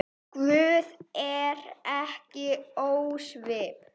Guð er ekki ósvip